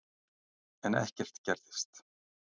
En ekkert gerðist.